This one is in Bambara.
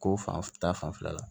Ko fan ta fanfɛla la